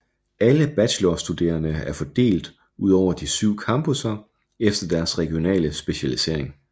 Alle bachelorstuderende er fordelt udover de syv campuser efter deres regionale specialisering